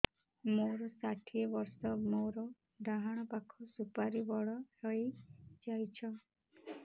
ମୋର ଷାଠିଏ ବର୍ଷ ମୋର ଡାହାଣ ପାଖ ସୁପାରୀ ବଡ ହୈ ଯାଇଛ